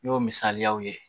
N'o misaliyaw ye